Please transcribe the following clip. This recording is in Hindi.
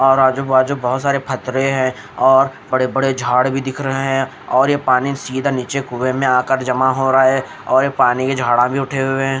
और आजू बाजू बहोत सारे फतरे हैं और बड़े बड़े झाड़ भी दिख रहे हैं और ये पानी सीधा नीचे कुएं में आकर जमा हो रहा है और पानी ये झाड़ा भी उठे हुए हैं।